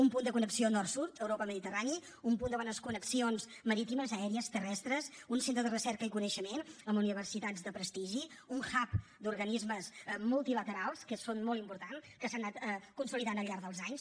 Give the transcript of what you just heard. un punt de connexió nord sud europa mediterrani un punt de bones connexions marítimes aèries terrestres un centre de recerca i coneixement amb universitats de prestigi un hub d’organismes multilaterals que són molt importants que s’han anat consolidant al llarg dels anys